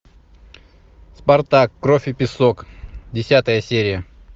спартак кровь и песок десятая серия